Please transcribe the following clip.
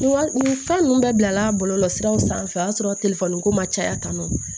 Wa nin fɛn ninnu bɛɛ bila la bɔlɔlɔsiraw sanfɛ o y'a sɔrɔ ko ma caya tanu